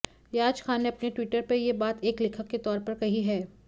रियाज खान ने अपने ट्विटर पर ये बात एक लेखक के तौर पर कही है